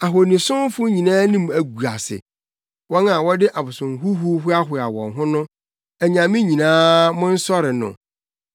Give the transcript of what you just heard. Ahonisomfo nyinaa anim agu ase, wɔn a wɔde abosomhuhuw hoahoa wɔn ho no, anyame nyinaa monsɔre no.